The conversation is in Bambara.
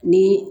Ni